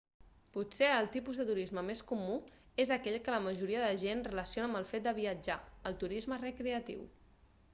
potser el tipus de turisme més comú és aquell que la majoria de gent relaciona amb el fet de viatjar el turisme recreatiu